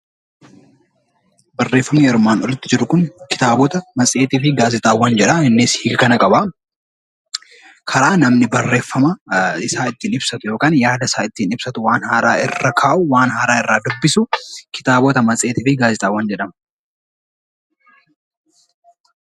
Barreeffamni armaan olitti jiru Kun, kitaabota, matseetii fi gaazexaawwan jedhaa innis gosa qabaa. Karaa namni yaada isaa ittiin ibsatu yookaan waan haaraa irra kaa'u waan haaraa irraa dubbisu kitaabota, matseetii fi gaazexaawwan jedhama.